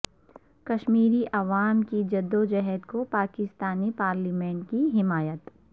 کشمیری عوام کی جدوجہد کو پاکستانی پارلیمنٹ کی حمایت